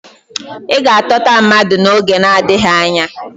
Ị ga-atọta mmadụ n'oge nadịghị anya.